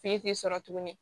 tɛ sɔrɔ tuguni